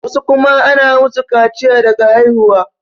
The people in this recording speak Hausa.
wasu kuma ana musu kaciya daga haihuwa